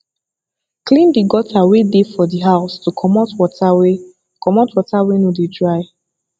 clean the gutter wey dey for di house to comot water wey comot water wey no dey dry